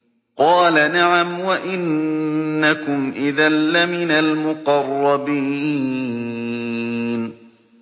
قَالَ نَعَمْ وَإِنَّكُمْ إِذًا لَّمِنَ الْمُقَرَّبِينَ